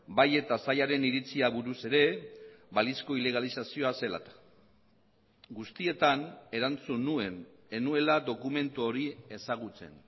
bai eta sailaren iritzia buruz ere balizko ilegalizazioa zela eta guztietan erantzun nuen ez nuela dokumentu hori ezagutzen